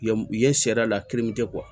Ye u ye sariya la